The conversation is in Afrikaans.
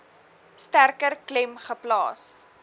sterker klem geplaas